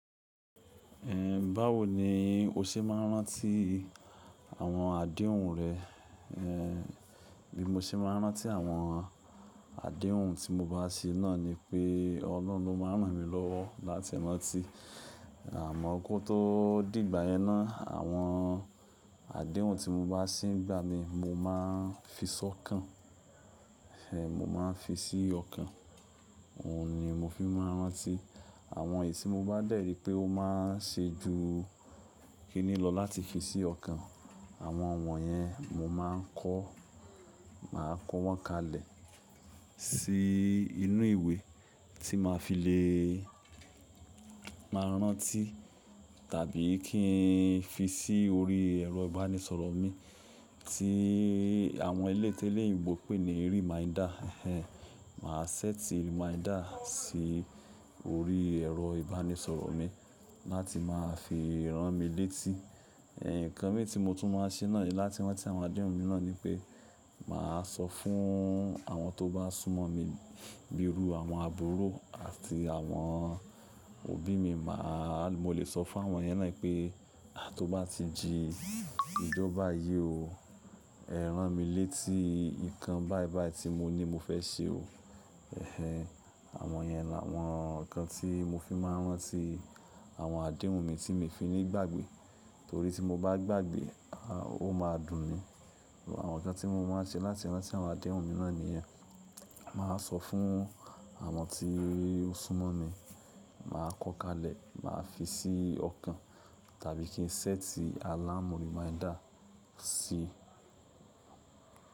Ehn, báwo ni o se máa ń rántí àwọn àdéhùn rẹ? Ehn, bí mo ṣe máa ń rántí àwọn àdéhùn tí mo bá ṣe náà ni pé Ọlọ́run ló máa ń ràn mí lọ́wọ́ láti rántí. Àmọ́ kó tó dìgbà ẹ náà, àwọn àdéhùn tí mo bá sì ń gbà ni mo máa ń fi sọ́kàn. Ehn, mo máa ń fi sí ọkàn. Òun ni mo fi máa ń rántí. Àwọn èyí tí mo bá dẹ̀ rí pé ó máa ń ṣe ju kínní lọ láti fi sí ọkàn, àwọn wọ̀nyẹn mo máa ń kọ́, màá kọ wọ́n kalẹ̀ sí inú ìwé tí màá fi le máa rántí, tàbí kí n fi sí orí ẹ̀rọ ìbánisọ̀rọ̀ mi tí àwọn elétélé ìbò pè ní reminder. Ehn, màá ṣẹ́tí reminder sí orí ẹ̀rọ ìbánisọ̀rọ̀ mi láti máa fi rán mi létí. Ehn, ǹkan mìíràn tí mo tún máa ń ṣe náà láti rántí àwọn àdéhùn mi náà ni pé, màá sọ fún àwọn tó bá súnmọ́ mi, bíi irú àwọn àbúrò àti àwọn òbí mi. Màá, mo lè sọ fún àwọn yẹn náà pé, "Àá tó bá ti jí ìjọ bayìí o, ẹ rán mi létí ǹkan báìbàì tí mo ní mo fẹ́ ṣe o." Ehn, àwọn yẹn làwọn ǹkan tí mo fi máa ń rántí àwọn àdéhùn mi tí mi ò fi nígbàgbé. Nítorí tí mo bá gbàgbé, aah, ó máa dùn ni. Àwọn ǹkan tí mo máa ń ṣe láti rántí àwọn àdéhùn mi náà ni yẹn. Màá sọ fún àwọn tí ó súnmọ́ mi, màá kọ́ kalẹ̀, màá fi sí ọkàn, tàbí kí n ṣẹ́tí alámò reminder sí.